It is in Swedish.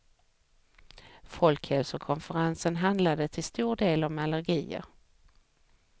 Folkhälsokonferensen handlade till stor del om allergier.